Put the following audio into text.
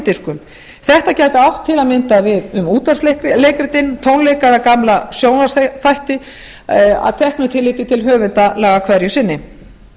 diskum þetta gæti átt til að mynda um útvarpsleikritin tónleika eða gamla sjónvarpsþætti að teknu tilliti til höfundalaga hverju sinni